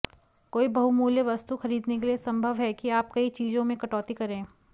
कोई बहुमूल्य वस्तु खरीदने के लिए संभव है कि आप कई चीजों में कटौती करें